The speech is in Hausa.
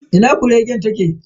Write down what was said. Ina kuregen ta ke?